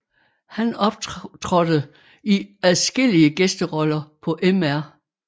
Han optrådte i adskillige gæsteroller på Mr